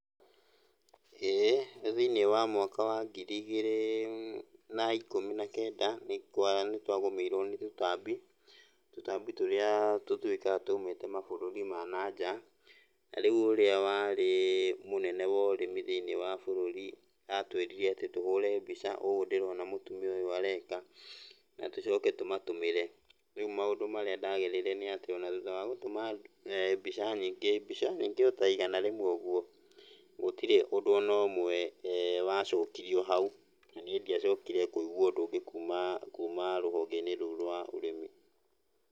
Ĩĩ, nĩ thiĩniĩ wa mwaka wa ngiri igĩrĩ na ikũmi na kenda, nĩ twagũmĩirwo nĩ tũtambi. Tũtambi tũrĩa tũtuĩkaga twaumĩte mabũrũri ma nanja, na rĩu ũrĩa warĩ mũnene wa ũrĩmi thĩiniĩ wa bũrũri, atwĩrire atĩ tũhũre mbica ũũ ndĩrona mũtumia ũyũ areka, na tũcoke tũmatũmĩre. Rĩu maũndũ marĩa ndagereire nĩatĩ ona thutha wa gũtũma mbica nyigĩ mbica nyigĩ ota igana rĩmwe ũguo, gũtirĩ ũndũ ona ũmwe wacokirio hau. Na niĩ ndiacokire kũigua ũndũ ũngĩ kuma, kuma rũhonge-inĩ rũu rwa ũrĩmi.